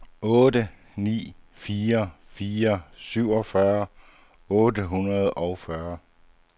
otte ni fire fire syvogfyrre otte hundrede og fyrre